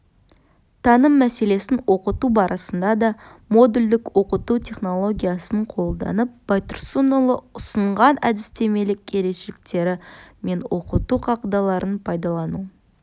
таным мәселесін оқыту барысында да модульдік оқыту технологиясын қолданып байтұрсынұлы ұсынған әдістемелік ерекшеліктері мен оқыту қағидаларын пайдалану